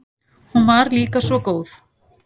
Hún var líka svo góð.